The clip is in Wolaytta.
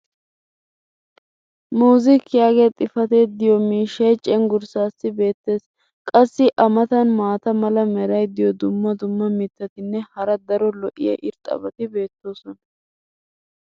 "music" yaagiya xifatee diyo miishshaycengurssaassi beetees. qassi a matan maata mala meray diyo dumma dumma mitatinne hara daro lo'iya irxxabati beetoosona.